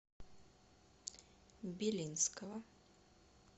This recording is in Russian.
белинского